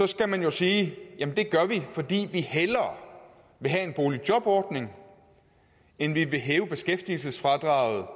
skal man jo sige jamen det gør vi fordi vi hellere vil have en boligjobordning end vi vil hæve beskæftigelsesfradraget